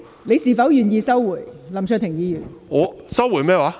你是否願意收回，林卓廷議員？